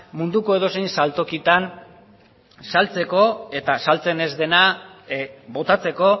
munduko edozein saltokitan saltzeko eta saltzen ez dena botatzeko